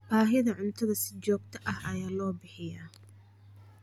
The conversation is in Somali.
Baahida cuntada si joogto ah ayaa loo bixiyaa.